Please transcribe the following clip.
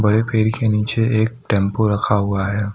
हरे पेड़ के नीचे एक टेंपो रखा हुआ है।